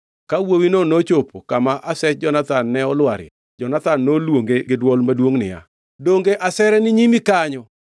Ka wuowino nochopo kama asech Jonathan ne olwarie, Jonathan noluonge gi dwol maduongʼ niya, “Donge asere ni nyimi kanyo?”